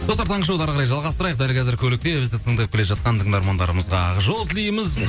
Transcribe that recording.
достар таңғы шоуды әрі қарай жалғастырайық дәл қазір көлікте бізді тыңдап келе жатқан тыңдарманарымызға ақ жол тілейміз